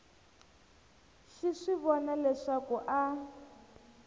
xi swi vona leswaku a